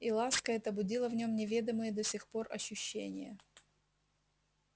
и ласка эта будила в нем неведомые до сих пор ощущения